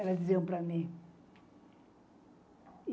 Elas diziam para mim.